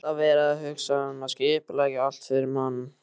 Alltaf verið að hugsa og skipuleggja allt fyrir mann.